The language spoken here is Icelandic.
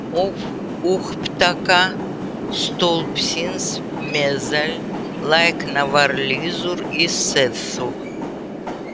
Upptaka sloppsins meðal lækna var liður í þessu.